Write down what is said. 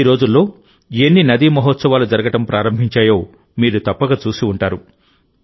ఈ రోజుల్లో ఎన్ని నదీ మహోత్సవాలు జరగడం ప్రారంభించాయో మీరు తప్పక చూసి ఉంటారు